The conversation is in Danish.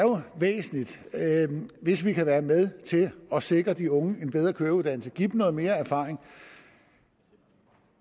væsentligt hvis vi kan være med til at sikre de unge en bedre køreuddannelse give dem noget mere erfaring